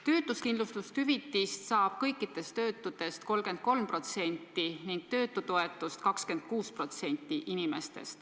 Töötuskindlustushüvitist saab kõikidest töötutest 33% ning töötutoetust 26%.